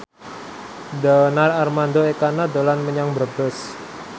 Donar Armando Ekana dolan menyang Brebes